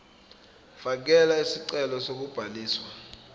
fakela isicelo sokubhaliswa